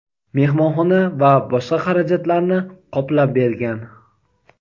mehmonxona va boshqa xarajatlarni qoplab bergan.